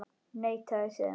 Neitaði síðan.